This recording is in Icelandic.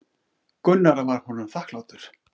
Gunnar var honum þakklátur.